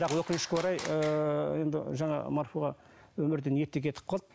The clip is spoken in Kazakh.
бірақ өкінішке орай ыыы енді ыыы жаңағы марфуға өмірден ерте кетіп қалды